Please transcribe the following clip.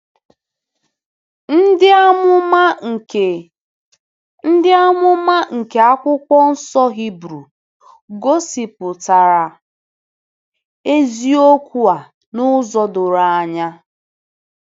Ndị amụma nke Ndị amụma nke Akwụkwọ Nsọ Hibru gosipụtara eziokwu a n’ụzọ doro anya.